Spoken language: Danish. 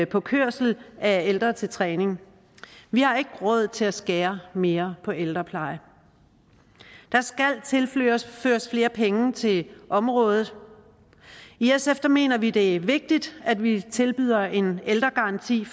på kørsel af ældre til træning vi har ikke råd til at skære mere på ældrepleje der skal tilføres tilføres flere penge til området i sf mener vi det er vigtigt at vi tilbyder en garanti